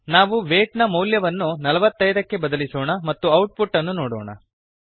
ನಾವು ವೈಟ್ ನ ಮೌಲ್ಯವನ್ನು ೪೫ ಕ್ಕೆ ಬದಲಿಸೋಣ ಮತ್ತು ಔಟ್ ಪುಟ್ ಅನ್ನು ನೋಡೋಣ